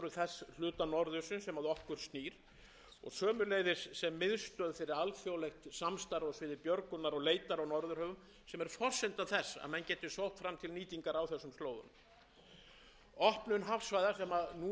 þess hluta norðursins sem að okkur snýr og sömuleiðis sem miðstöð fyrir alþjóðlegt samstarf á sviði björgunar og leitar á norðurhöfum sem er forsenda þess að menn geti sótt fram til nýtingar á þessum slóðum opnun hafsvæða sem núna er undir